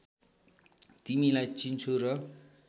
तिमीलाई चिन्छु र